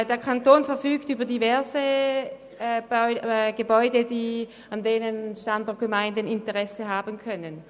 Der Kanton verfügt über diverse Gebäude, an denen Standortgemeinden Interesse haben können.